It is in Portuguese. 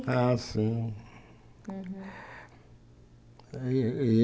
Ah, sim. E e